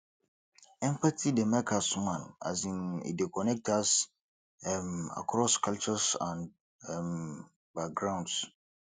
empathy dey make us human um e dey connect us um across cultures and um backgrounds